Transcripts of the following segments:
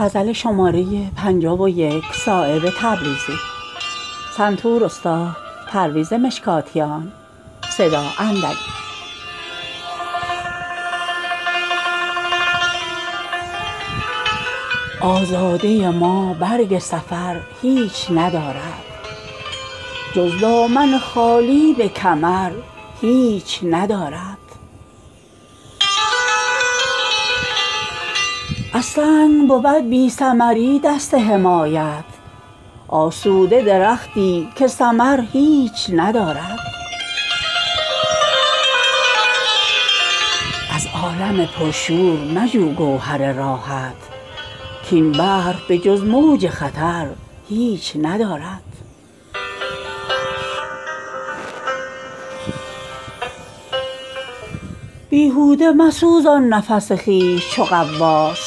آزاده ما برگ سفر هیچ ندارد جز دامن خالی به کمر هیچ ندارد از سنگ بود بی ثمری دست حمایت آسوده درختی که ثمر هیچ ندارد از عالم پر شور مجو گوهر راحت کاین بحر به جز موج خطر هیچ ندارد از چشمه خورشید مجو آب مروت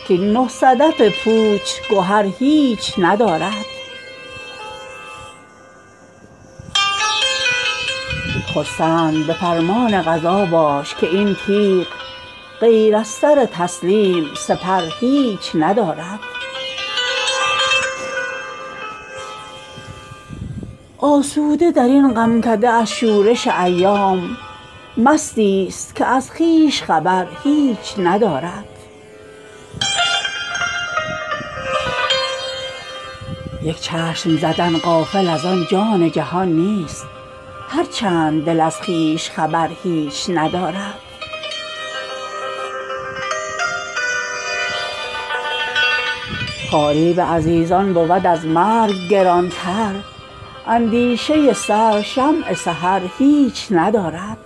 کاین جام به جز خون جگر هیچ ندارد بیهوده مسوزان نفس خویش چو غواص کاین نه صدف پوچ گهر هیچ ندارد عاشق بود آسوده ز چشم بد اختر این سوخته پروای شرر هیچ ندارد خرسند به فرمان قضا باش که این تیغ غیر از سر تسلیم سپر هیچ ندارد از بند مکش گردن تسلیم که هر نی کز بند بود ساده شکر هیچ ندارد بر سوخته فرمان شرر گرچه روان است در دل سیهان ناله اثر هیچ ندارد آسوده درین غمکده از شورش ایام مستی است که از خویش خبر هیچ ندارد در عالم حیرت نبود تفرقه را راه محو تو زکونین خبر هیچ ندارد این با که توان گفت که غیر از گره دل آن سرو گل اندام ثمر هیچ ندارد رحم است بر آن کس که ز کوته نظریها بر عاقبت خویش نظر هیچ ندارد پرهیز کن ازقرب نکویان که زخورشید غیر از نفس سرد سحر هیچ ندارد پروانه به جز سوختن بال وپر خویش از شمع تمنای دگر هیچ ندارد یک چشم زدن غافل ازان جان جهان نیست هر چند دل از خویش خبر هیچ ندارد خواری به عزیزان بود از مرگ گرانتر اندیشه سر شمع سحر هیچ ندارد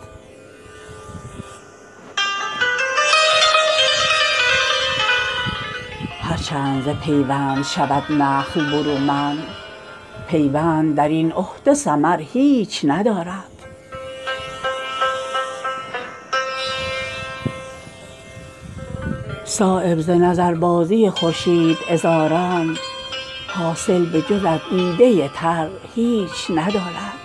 هر چند ز پیوند شود نخل برومند پیوند درین عهد ثمر هیچ ندارد صایب ز نظر بازی این لاله عذاران حاصل به جز از خون جگر هیچ ندارد